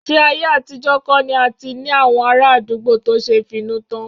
Ṣé ayé àtijọ́ kọ̀ ni a ti ní àwọn ará àdúgbò tó ṣe finútán?